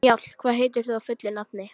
Njáll, hvað heitir þú fullu nafni?